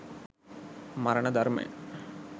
මරණ ධර්මය